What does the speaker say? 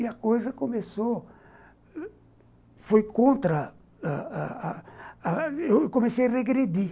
E a coisa começou... foi contra ãh ãh...ãh eu comecei a regredir.